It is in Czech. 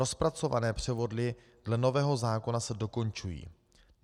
Rozpracované převody dle nového zákona se dokončují.